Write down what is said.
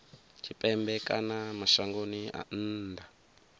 tshipembe kana mashangoni a nnḓa